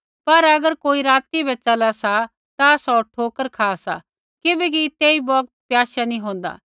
पर अगर कोई राती बै च़ला सा ता सौ ठोकर खा सा किबैकि तेई बौगत प्याशा नैंई होंदा